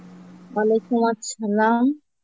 Arbi